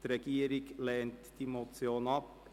Die Regierung lehnt diese Motion ab.